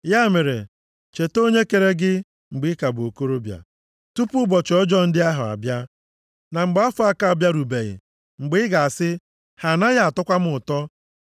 Ya mere, cheta Onye kere gị mgbe ị ka bụ okorobịa, tupu ụbọchị ọjọọ ndị ahụ abịa, na mgbe afọ aka abịarubeghị mgbe ị ga-asị, “Ha anaghị atọkwa m ụtọ.”